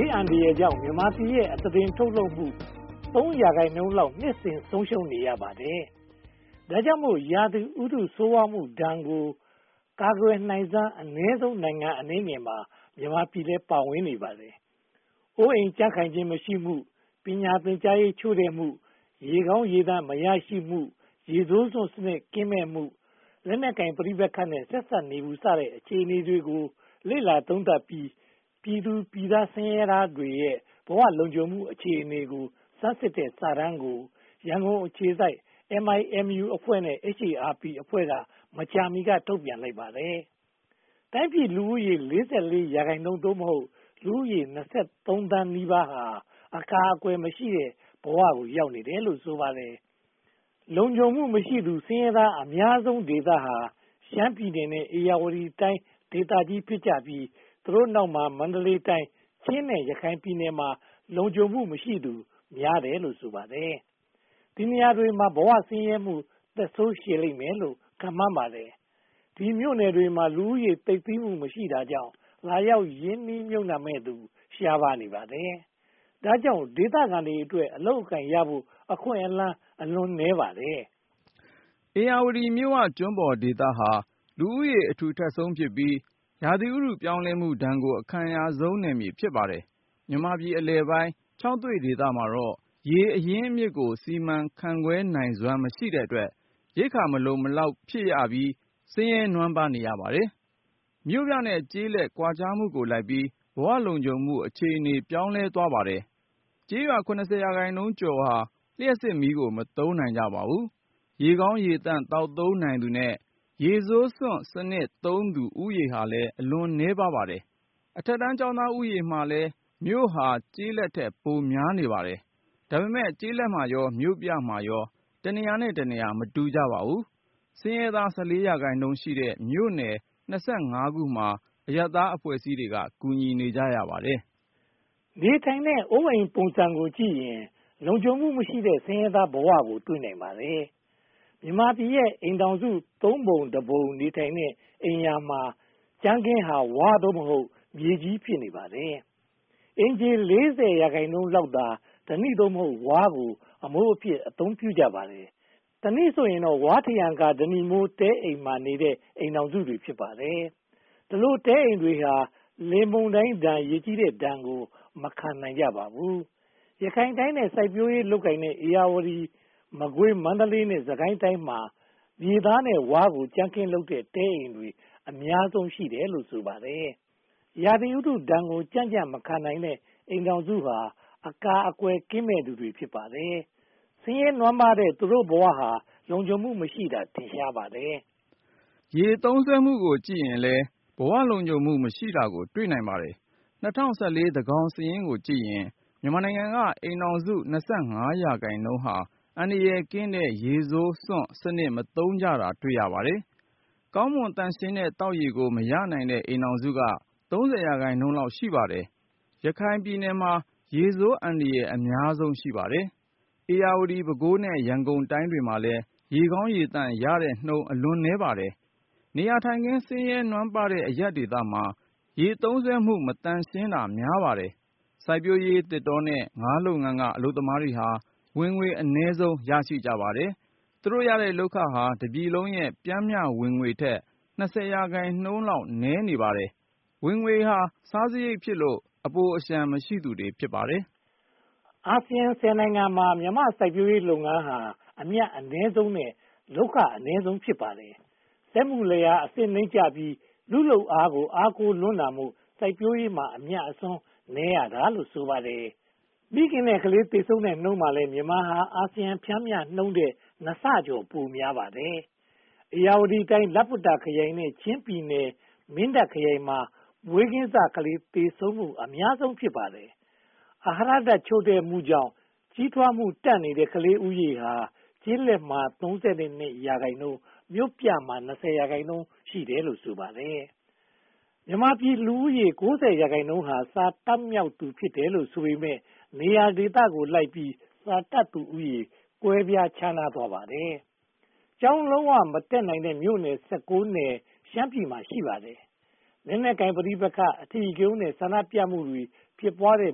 ေးအန္တရာယ်ကြောင့် မြန်မာပြည်ရဲ့ အသားတင်ထုတ်လုပ်မှု (၃) ရာခိုင်နှုန်းလောက် နှစ်စဉ်ဆုံးရှုံးနေရပါတယ်။ ဒါကြောင့်မို့ ရာသီဥတု ဆိုးဝါးမှုဒဏ်ကို ကာကွယ်နိုင်စွမ်း အနည်းဆုံးနိုင်ငံ အနည်းငယ်မှာ မြန်မာပြည်လည်း ပါဝင်နေပါတယ်။ အိုးအိမ်ကြံ့ခိုင်ခြင်းမရှိမှု၊ ပညာသင်ကြားရေးချို့တဲ့မှု၊ ရေကောင်းရေသန့်မရရှိမှု၊ ရေဆိုးစွန့်စနစ်ကင်းမဲ့မှု၊ လက်နက်ကိုင်ပဋိပက္ခနဲ့ ဆက်စပ်နေမှုစတဲ့ အခြေအနေတွေကို လေ့လာသုံးသပ်ပြီး ပြည်သူပြည်သားဆင်းရဲသားတွေရဲ့ ဘဝလုံခြုံမှုအဆင့်အတန်းကို ဆန်းစစ်ထားတဲ့စာတမ်းကို ရန်ကုန်အခြေစိုက် MIMU အဖွဲ့နဲ့ HARP အဖွဲ့က မကြာမီက ထုတ်ပြန်လိုက်ပါတယ်။ တိုင်းပြည်လူဦးရေရဲ့ (၄၄) ရာခိုင်နှုန်း (သို့မဟုတ်) လူဦးရေ (၂၃) သန်းနီးပါးဟာ အကာအကွယ်မရှိတဲ့ဘဝ ရောက်နေတယ်လို့ ဆိုပါတယ်။ လုံခြုံမှုမရှိသူ ဆင်းရဲသားအများဆုံးဒေသတွေဟာ ရှမ်းပြည်နယ် နဲ့ ဧရာဝတီတိုင်းဒေသကြီး ဖြစ်ကြပြီး သူတို့နောက်မှာ မန္တလေးတိုင်း၊ ချင်း နဲ့ ရခိုင်ပြည်နယ်တို့မှာ လုံခြုံမှုမရှိသူများတယ်လို့ ဆိုပါတယ်။ ဒီနေရာတွေမှာ ဘဝဆင်းရဲမှု သက်ဆိုးရှည်လိမ့်မယ်လို့ ခန့်မှန်းပါတယ်။ ဒီမြို့နယ်တွေမှာ လူဦးရေသိပ်သည်းမှု မရှိတာကြောင့် လာရောက်ရင်းနှီးမြုပ်နံှမယ်သူ ရှားပါးနေပါတယ်။ ဒါကြောင့် ဒေသခံတွေအတွက် အလုပ်အကိုင်ရဖို့ အခွင့်အလမ်းနည်းပါတယ်။ ဧရာဝတီမြစ်ဝကျွန်းပေါ်ဒေသဟာ လူဦးရေးအထူထပ်ဆုံးဖြစ်ပြီး ရာသီဥတုပြောင်းလဲမှုဒဏ်ကို အခံရဆုံးနယ်မြေ ဖြစ်ပါတယ်။ မြန်မာပြည်အလယ်ပိုင်း ခြောက်သွေ့ဒေသတွေမှာတော့ ရေအရင်းအမြစ်ကို စီမံခန့်ခွဲနိုင်စွမ်းမရှိတဲ့အတွက် ရိက္ခာမလုံမလောက်ဖြစ်ပြီး ဆင်းရဲနွမ်းပါးရပါတယ်။ မြို့ပြနဲ့ ကျေးလက်ကွာခြားမှုကိုလိုက်ပြီး ဘဝလုံခြုံမှုအခြေအနေ ပြောင်းလဲသွားပါတယ်။ ကျေးရွာ (၇၀) ရာခိုင်နှုန်းကျော်ကျော်ဟာ လျှပ်စစ်မီးကို မသုံးနိုင်ပါဘူး။ ရေကောင်းရေသန့် သောက်သုံးနိုင်သူနဲ့ ရေဆိုးစွန့်စနစ် သုံးသူဦးရေဟာလည်း အလွန်နည်းပါးပါတယ်။ အထက်တန်းကျောင်းသားဦးရေမှာလည်း မြို့ဟာကျေးလက်ထက် ပိုများပါတယ်။ ဒါပေမဲ့ ကျေးလက်မှာရော၊ မြို့ပြမှာရော တနေရာနဲ့တနေရာ မတူပါဘူး။ ဆင်းရဲသား (၁၄) ရာခိုင်နှုန်းရှိတဲ့ မြို့နယ် (၂၅) ခုမှာ အရပ်သားအဖွဲ့တွေက ကူညီနေကြပါတယ်။ နေထိုင်တဲ့ အိုးအိမ်ပုံစံကိုကြည့်ရင် လုံခြုံမှုမရှိတဲ့ ဆင်းရဲသားဘဝကို တွေ့နိုင်ပါတယ်။ မြန်မာပြည်ရဲ့ အိမ်ထောင်စု သုံးပုံတပုံ နေထိုင်တဲ့အိမ်ယာမှာ ကြမ်းခင်းဟာ ဝါး (သို့မဟုတ်) မြေကြီး ဖြစ်နေပါတယ်။ အိမ်ခြေ (၄၀) ရာခိုင်နှုန်းလောက်ဟာ ဓနိ (သို့မဟုတ်) ဝါးကို အမိုးအဖြစ် အသုံးပြုကြပါတယ်။ တနည်းဆိုရင်တော့ ဝါးထရံကာဓနိမိုး တဲ့အိမ်မှာနေတဲ့ အိမ်ထောင်စုတွေ ဖြစ်ပါတယ်။ ဒီလို တဲအိမ်တွေဟာ လေပြင်းမုန်တိုင်းနဲ့ ရေကြီးတဲ့ဒဏ်ကို မခံနိုင်ကြပါဘူး။ ရခိုင်တိုင်းနဲ့ စိုက်ပျိုးရေးလုပ်ကိုင်တဲ့ ဧရာဝတီ၊ မကွေး၊ မန္တလေးနဲ့ စစ်ကိုင်းတိုင်းမှာ မြေသားနဲ့ဝါးကို ကြမ်းခင်းလုပ်တဲ့ တဲအိမ်တွေ အများဆုံးရှိတယ်လို့ ဆိုပါတယ်။ ဆင်းရဲနွမ်းပါးတဲ့ သူတို့ဘဝဟာ လုံခြုံမှုမရှိတာ ထင်ရှားပါတယ်။ ရေသုံးစွဲမှုကိုကြည့်ရင်လည်း ဘဝလုံခြုံမှုမရှိတာကို တွေ့နိုင်ပါတယ်။ ၂၀၁၄ သန်းခေါင်စာရင်းကိုကြည့်ရင် မြန်မာနိုင်ငံက အိမ်ထောင်စု (၂၅) ရာခိုင်နှုန်းဟာ အန္တရာယ်ကင်းတဲ့ ရေဆိုးစွန့်စနစ် မသုံးကြတာ တွေ့ရပါတယ်။ ကောင်းမွန်သန့်ရှင်းတဲ့ သောက်ရေကို မရနိုင်တဲ့ အိမ်ထောင်စုက (၃၀) ရာခိုင်နှုန်းလောက် ရှိပါတယ်။ ရခိုင်တိုင်းမှာ ရေဆိုးအန္တရာယ်အများဆုံး ရှိပါတယ်။ ဧရာဝတီ၊ ပဲခူး နဲ့ ရန်ကုန်တိုင်းတွေမှာလည်း ရေကောင်းရေသန့်ရတဲ့နှုန်း အလွန်နည်းပါတယ်။ နေရာထိုင်ခင်း ဆင်းရဲနွမ်းပါးတဲ့ အရပ်ဒေသမှာ ရေသုံးစွဲမှု မသန့်ရှင်းတာများပါတယ်။ စိုက်ပျိုးရေး၊ သစ်တောနဲ့ ငါးလုပ်ငန်းက အလုပ်သမားတွေဟာ ဝင်ငွေအနည်းဆုံး ရရှိကြပါတယ်။ သူတို့ရခဲ့လုပ်ခဟာ တပြည်လုံးရဲ့ ပျမ်းမျှဝင်ငွေထက် (၂၀) ရာခိုင်နှုန်း နည်းနေပါတယ်။ ဝင်ငွေဟာ စားစရိတ်ဖြစ်လို့ အပိုအလျှံမရှိသူတွေ ဖြစ်ပါတယ်။ အာဆီယံ (၁၀) နိုင်ငံမှာ မြန်မာ့စိုက်ပျိုးရေးလုပ်ငန်းဟာ အမြတ်အနည်းဆုံးနဲ့ လုပ်ခအနိမ့်ဆုံး ဖြစ်ပါတယ်။ စက်မှုလယ်ယာအဆင့်နိမ့်ကျပြီး လူ့လုပ်အားကို အားကိုးလွန်းတာမို့ စိုက်ပျိုးရေးမှာ အမြတ်အစွန်း နည်းရတာလို့ ဆိုပါတယ်။ မိခင်နဲ့ကလေး သေဆုံးတဲ့နှုန်းမှာလည်း မြန်မာဟာ အာဆီယံပျမ်းမျှနှုန်းထက် (၂) ဆကျော် ပိုများနေပါတယ်။ ဧရာဝတီတိုင်း လပ္ပတ္တာခရိုင်နဲ့ ချင်းပြည်နယ် မင်းတပ်ခရိုင်မှာ မွေးကင်းစကလေးတွေ သေဆုံးမှု အများဆုံး ဖြစ်ပါတယ်။ အာဟာရဓါတ် ချို့တဲ့မှုကြောင့် ကြီးထွားမှုတန့်နေတဲ့ ကလေးဦးရေဟာ ကျေးလက်မှာ (၃၂) ရာခိုင်နှုန်း မြို့ပြမှာ (၂၀) ရာခိုင်နှုန်းရှိတယ်လို့ ဆိုပါတယ်။ မြန်မာပြည်လူဦးရေ (၉၀) ရာခိုင်နှုန်းဟာ စာတတ်မြောက်သူ ဖြစ်တယ်လို့ဆိုပေမယ့် နေရာဒေသကိုလိုက်ပြီး စာတတ်သူဦးရေ ကွဲပြားခြားနားသွားပါတယ်။ ကျောင်းလုံးဝမတက်နိုင်တဲ့ မြို့နယ် (၁၉) နယ် ရှမ်းပြည်နယ်မှာ ရှိပါတယ်။ လက်နက်ကိုင်ပဋိပက္ခ၊ အဓိကရုဏ်း နဲ့ ဆန္ဒပြမှုတွေ ဖြစ်ပွားတဲ့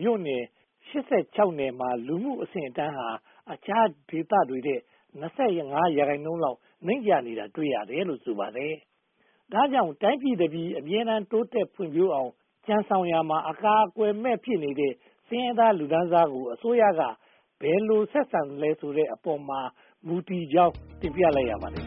မြို့နယ် (၆၈) နယ်ရဲ့ လူနေမှုအဆင့်အတန်းဟာ အခြားဒေသတွေထက် (၂၅) ရာခိုင်နှုန်းလောက် နိမ့်ကျနေတာ တွေ့ရတယ်လို့ ဆိုပါတယ်။ ဒါကြောင့် တိုင်းပြည်တပြည် အမြဲတမ်း ဖွံ့ဖြိုးတိုးတက်အောင် ကြံဆောင်ရာမှာ အကာအကွယ်မဲ့ ဖြစ်နေတဲ့ ဆင်းရဲသားလူတန်းစားကို အစိုးရက ဘယ်လိုဆက်ဆံသလဲဆိုတဲ့ အပေါ်မှာမူတည်ကြောင်း တင်ပြလိုက်ရပါတယ်